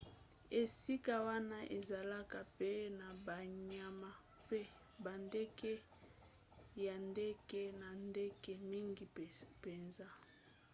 esika wana ezalaka pe na banyama mpe bandeke ya ndenge na ndenge mingi mpenza